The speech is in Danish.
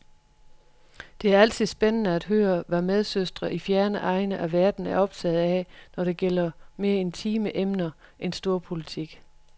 Det er altid spændende at høre, hvad medsøstre i fjerne egne af verden er optaget af, når det gælder mere intime emner end storpolitik.